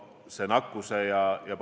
Suur tänu, härra peaminister!